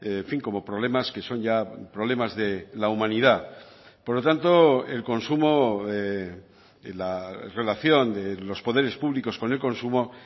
en fin como problemas que son ya problemas de la humanidad por lo tanto el consumo en la relación de los poderes públicos con el consumo